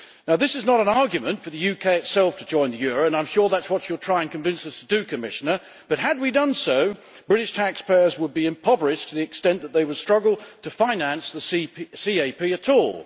This is not an argument for the UK itself to join the euro, and I am sure that is what you will try and convince us to do, Commissioner but, had we done so, British taxpayers would be impoverished to the extent that they would struggle to finance the CAP at all.